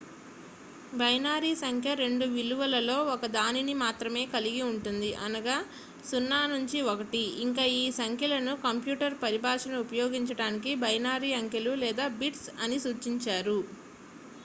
binary సంఖ్య రెండు విలువలలో ఒకదానిని మాత్రమే కలిగి ఉంటుంది అనగా 0 లేదా 1 ఇంకా ఈ సంఖ్యలను కంప్యూటర్ పరిభాషను ఉపయోగించడానికి బైనరీ అంకెలు లేదా బిట్స్ అని సూచిస్తారు